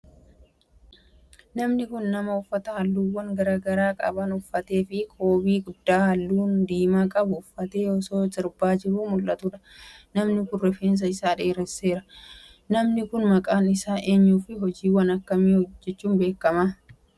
Namni kun, nama uffata haalluuwwan garaa garaa qaban uffatee fi koobii guddaa haalluu diimaa qabu uffatee osoo sirbaa jiruu mul'atuu dha. Namni kun, rifeensa isaa dheeresseera. Namni kun, maqaan isaa eenyu fi hojiiwwan akka kamiitin beekama?